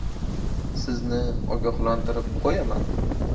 Sizni ogohlantirib qo‘yaman.